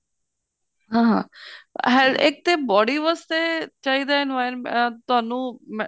ਹਾਂ ਹਾਂ health ਇੱਕ ਤੇ body ਵਾਸਤੇ ਚਾਹੀਦਾ environment ਤੁਹਾਨੂੰ ਮੈਂ